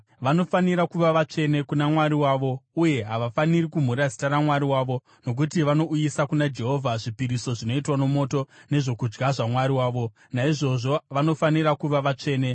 Vanofanira kuva vatsvene kuna Mwari wavo uye havafaniri kumhura zita raMwari wavo. Nokuti vanouyisa kuna Jehovha zvipiriso zvinoitwa nomoto, nezvokudya zvaMwari wavo; naizvozvo vanofanira kuva vatsvene.